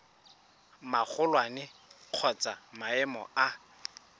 magolwane kgotsa wa maemo a